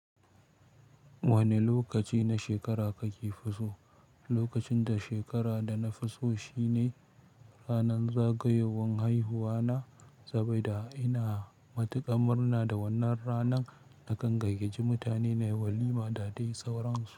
Wane lokaci na shekara kake fi so? Lokacin da shekara da nafi so shine ranar zagayowar haihuwa na. Saboda ina matuƙar murna da wannan ranar, na kan gayyace mutane na walima da dai sauransu.